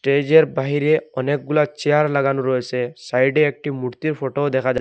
স্টেজের বাহিরে অনেকগুলা চেয়ার লাগানো রয়েছে সাইডে একটি মূর্তির ফটো দেখা যা--